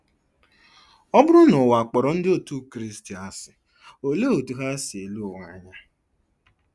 Ọ bụrụ na ụwa kpọrọ Ndị Otú Kristi asị, olee otú ha si ele ụwa anya?